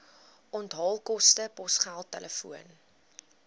onthaalkoste posgeld telefoon